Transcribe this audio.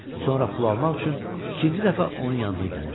Sonra pul almaq üçün ikinci dəfə onun yanına gəlir.